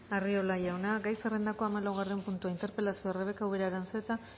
arriola jauna gai zerrendako hamalaugarren puntua interpelazioa rebeka ubera aranzeta